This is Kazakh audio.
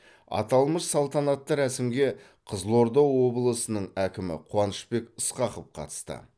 аталмыш салтанатты рәсімге қызылорда облысының әкімі қуанышбек ысқақов қатысты